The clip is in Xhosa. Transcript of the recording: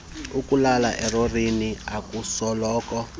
ukulala elorini akusoloko